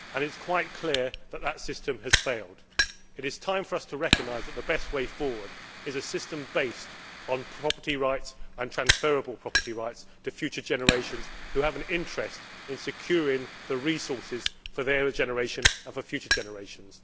It is quite clear that that system has failed. It is time for us to recognise that the best way forward is a system based on property rights and transferable property rights for future generations who have an interest in securing the resources for their generation and for future generations.